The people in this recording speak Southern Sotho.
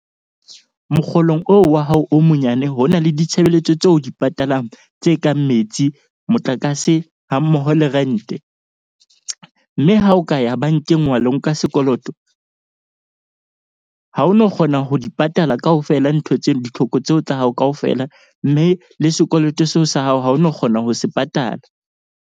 Mokgolong oo wa hao o monyane, ho na le ditshebeletso tse o di patalang tse kang metsi, motlakase, hammoho le rent-e. Mme ha o ka ya bank-eng wa lo ka nka sekoloto ha o no kgona ho di patala kaofela, ntho tseno ditlhoko tseo tsa hao kaofela. Mme le sekoloto seo sa hao ha o no kgona ho se patala.